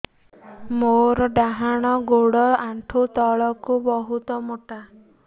ମୋର ଡାହାଣ ଗୋଡ ଆଣ୍ଠୁ ତଳୁକୁ ବହୁତ ମୋଟା